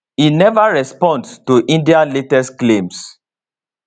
e neva respond to india latest claims